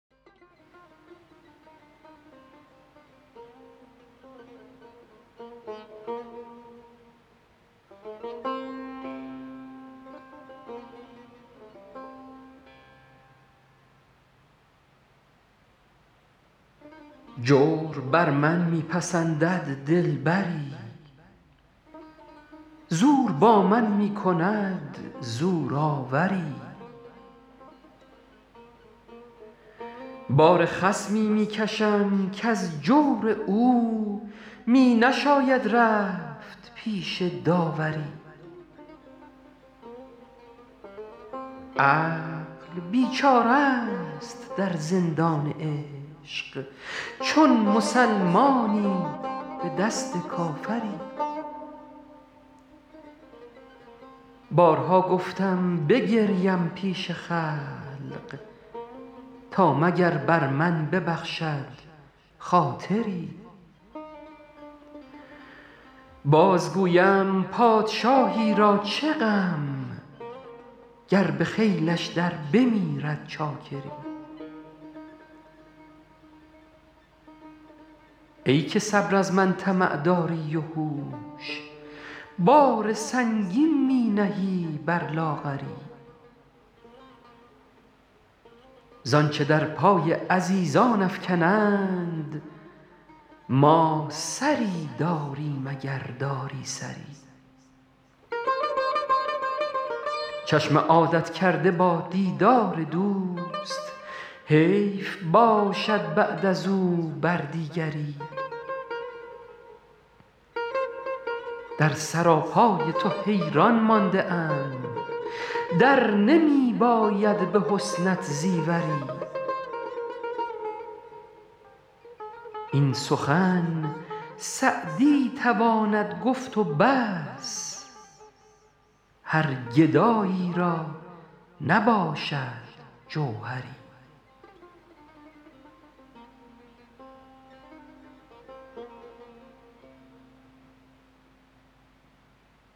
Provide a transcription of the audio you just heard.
جور بر من می پسندد دلبری زور با من می کند زورآوری بار خصمی می کشم کز جور او می نشاید رفت پیش داوری عقل بیچاره ست در زندان عشق چون مسلمانی به دست کافری بارها گفتم بگریم پیش خلق تا مگر بر من ببخشد خاطری باز گویم پادشاهی را چه غم گر به خیلش در بمیرد چاکری ای که صبر از من طمع داری و هوش بار سنگین می نهی بر لاغری زآنچه در پای عزیزان افکنند ما سری داریم اگر داری سری چشم عادت کرده با دیدار دوست حیف باشد بعد از او بر دیگری در سراپای تو حیران مانده ام در نمی باید به حسنت زیوری این سخن سعدی تواند گفت و بس هر گدایی را نباشد جوهری